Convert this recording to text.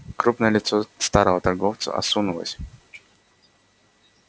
крупное лицо старого торговца осунулось